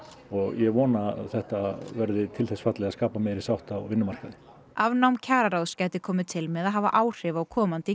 og ég vona að þetta verði til þess fallið að skapa meiri sátt á vinnumarkaði afnám kjararáðs gæti komið til með að hafa áhrif á komandi